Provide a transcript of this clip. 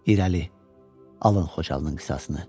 İrəli, alın Xocalının qisasını.